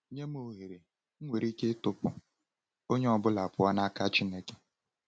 Nye m ohere, m nwere ike ịtụpụ onye ọ bụla pụọ n’aka Chineke.